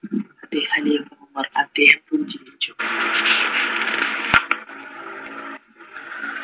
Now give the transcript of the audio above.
ഖലീഫ Umar അദ്ദേഹം പുഞ്ചിരിച്ചു